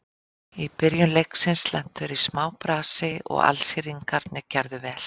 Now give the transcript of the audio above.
Í byrjun leiksins lentu þeir í smá brasi og Alsíringarnir gerðu vel.